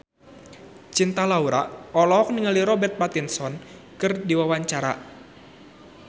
Cinta Laura olohok ningali Robert Pattinson keur diwawancara